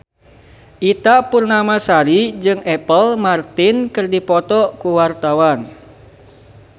Ita Purnamasari jeung Apple Martin keur dipoto ku wartawan